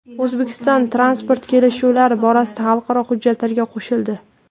O‘zbekiston transport kelishuvlari borasidagi xalqaro hujjatlarga qo‘shildi.